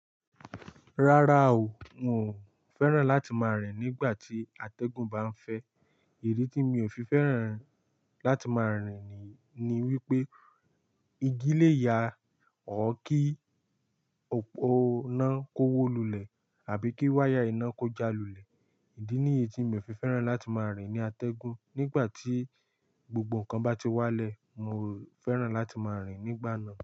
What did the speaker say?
Rárá o, n ò fẹ́ràn láti máa rìn nígbà tí atẹ́gùn bá ń fẹ́. Idi tí mi ò fi fẹ́ràn láti máa rìn ni, ni wípé igi lè ya ọ kí oná kówó lulẹ̀ àbí kí wáyà iná kó jalù lè. Ìdí ní èyí tí mi ò fi fẹ́ràn láti máa rìn ní atẹ́gùn. Nígbà tí gbogbo nǹkan bá ti wá lẹ, mi ò fẹ́ràn láti máa rìn nígbà náà.